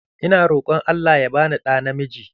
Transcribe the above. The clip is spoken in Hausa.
Ina roƙon Allah ya bani ɗa namiji.